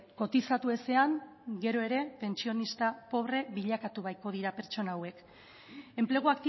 kotizatu ezean gero ere pentsionista pobre bilakatu bahiko dira pertsona hauek enplegu